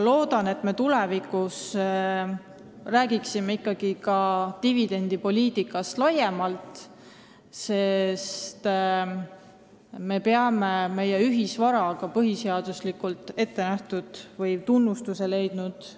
Loodan, et me tulevikus räägime ka dividendipoliitikast laiemalt, sest me peame väärikalt seisma meie ühisvara eest – nende varade eest, mis on põhiseaduses ette nähtud või tunnustust leidnud.